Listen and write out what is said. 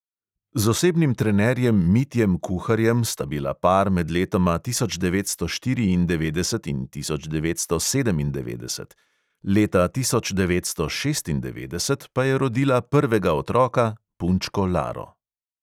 Z osebnim trenerjem mitjem kuharjem sta bila par med letoma tisoč devetsto štiriindevetdeset in tisoč devetsto sedemindevetdeset, leta tisoč devetsto šestindevetdeset pa je rodila prvega otroka – punčko laro.